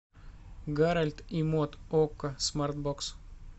гарольд и мод окко смарт бокс